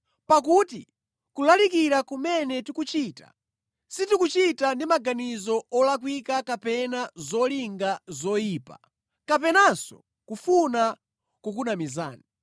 Pakuti kulalikira kumene tikuchita, sitikuchita ndi maganizo olakwika kapena zolinga zoyipa, kapenanso kufuna kukunamizani.